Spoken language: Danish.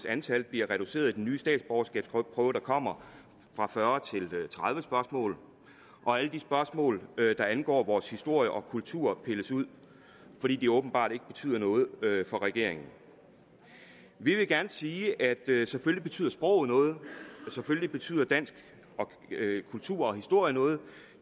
antal bliver reduceret i den nye statsborgerskabsprøve der kommer fra fyrre til tredive spørgsmål og alle de spørgsmål der angår vores historie og kultur pilles ud fordi de åbenbart ikke betyder noget for regeringen vi vil gerne sige at selvfølgelig betyder sproget noget selvfølgelig betyder dansk kultur og historie noget